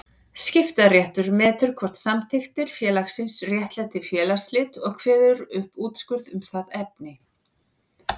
Skiptaréttur metur hvort samþykktir félagsins réttlæti félagsslit og kveður upp úrskurð um það efni.